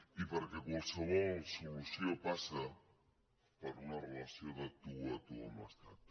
i perquè qualsevol solució passa per una relació de tu a tu amb l’estat